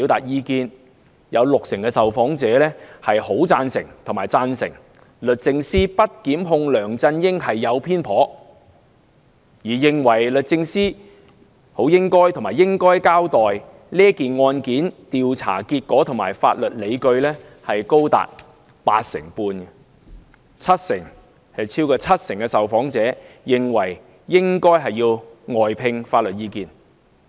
有六成受訪者"很贊成"和"贊成"律政司不檢控梁振英的決定是偏頗的；認為律政司"很應該"和"應該"交代該案的調查結果和法律理據的亦高達八成半；超過七成受訪者認為應外聘法律意見。